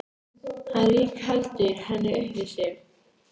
Hann rígheldur henni upp við sig.